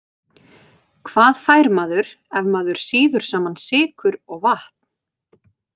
Hvað fær maður ef maður sýður saman sykur og vatn?